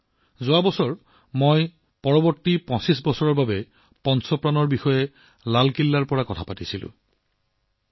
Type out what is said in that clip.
মই যোৱা বছৰ লালকিল্লাৰ পৰা অমৃতকালৰ আগন্তুক ২৫ বছৰৰ বাবে পঞ্চ পণৰ কথা কৈছিলোঁ